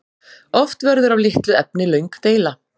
Oft verður af litlu efni löng deila.